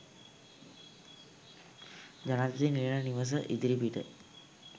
ජනාධිපති නිල නිවස ඉදිරිපිට